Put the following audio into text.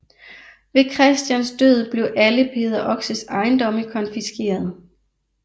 Ved Christians død blev alle Peder Oxes ejendomme konfiskeret